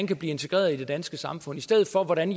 kan blive integreret i det danske samfund i stedet for at man